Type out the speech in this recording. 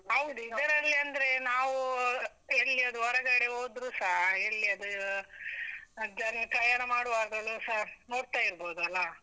ಹೌದು ಇದ್ರಲ್ಲಂದ್ರೆ, ನಾವೂ ಎಲ್ಲಿಯಾದ್ರು ಹೊರಗಡೆ ಹೋದ್ರುಸ ಎಲ್ಲಿಯಾದ್ರೂ ದ ಪ್ರಯಾಣ ಮಾಡುವಾಗಲೂಸ ನೋಡ್ತಾ ಇರ್ಬೋದಲ್ಲಾ.